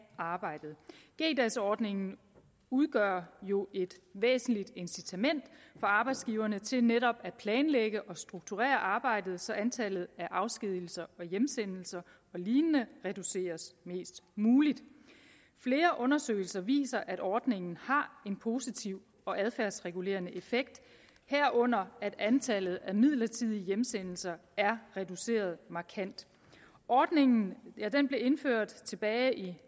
arbejdet g dags ordningen udgør jo et væsentligt incitament for arbejdsgiverne til netop at planlægge og strukturere arbejdet så antallet af afskedigelser og hjemsendelser og lignende reduceres mest muligt flere undersøgelser viser at ordningen har en positiv og adfærdsregulerende effekt herunder at antallet af midlertidige hjemsendelser er reduceret markant ordningen blev indført tilbage i